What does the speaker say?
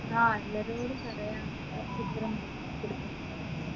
ആ എല്ലാരോടും പറയാം